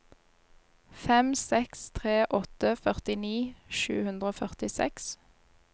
fem seks tre åtte førtini sju hundre og førtiseks